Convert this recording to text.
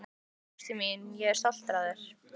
Ástin mín, ég er stoltur af þér.